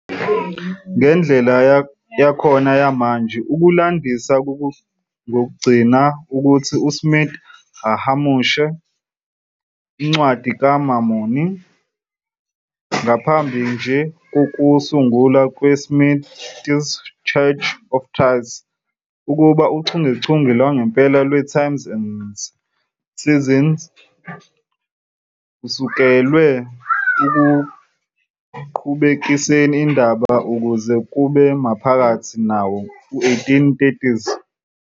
Ngendlela yakhona yamanje, ukulandisa kugcina ngokuthi uSmith ahumushe Incwadi kaMormoni, ngaphambi nje kokusungulwa kweSmith's Church of Christ, nakuba uchungechunge lwangempela "lweTimes and Seasons" lusekelwe ekuqhubekiseni indaba kuze kube maphakathi nawo-1830s.